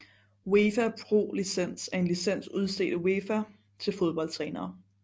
UEFA Pro Licens er en licens udstedt af UEFA til fodboldtrænere